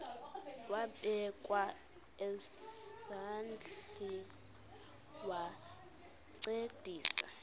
wabekwa nezandls wancedisa